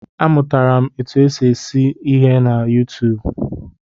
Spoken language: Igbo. A mụtara m otu esi eke isi na YuuTuub